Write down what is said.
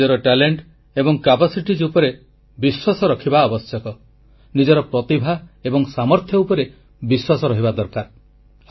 ଆମକୁ ନିଜର ପ୍ରତିଭା ଏବଂ ସାମର୍ଥ୍ୟ ଉପରେ ବିଶ୍ୱାସ ରହିବା ଦରକାର